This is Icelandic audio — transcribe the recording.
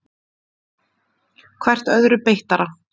Hvert öðru beittara.